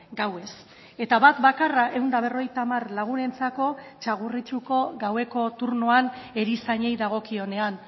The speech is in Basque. gauez eta bat bakarra ehun eta berrogeita hamar lagunentzako txagorritxuko gaueko turnoan erizainei dagokionean